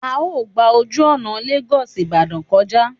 A ó gba ojú ọ̀nà Lagos Ibadan kọjá